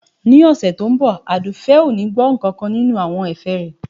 Ní ọ̀sẹ̀ tí ó ń bọ̀ Àdùfẹ̀ ò ní gbọ́ nkankan nínú àwọn ẹ̀fẹ̀ rẹ